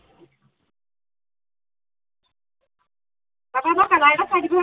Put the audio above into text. আকৌ মোক color এটা চাই দিবি চোন